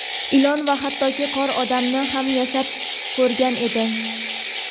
ilon va hattoki qor odamni ham yasab ko‘rgan edi.